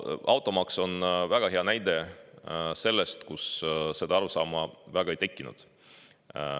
Automaks on väga hea näide sellest, kus seda arusaama väga ei tekkinud.